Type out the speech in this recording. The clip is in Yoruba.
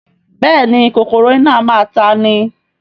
Bẹ́ẹ̀ni kòkòrò iná a máa ta'ni